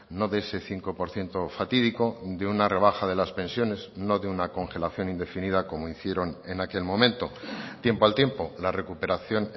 no de ese cinco por ciento fatídico de una rebaja de las pensiones no de una congelación indefinida como hicieron en aquel momento tiempo al tiempo la recuperación